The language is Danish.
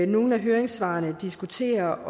nogle af høringssvarene diskuterer